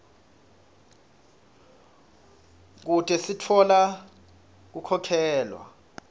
kute sitfola kukhokhela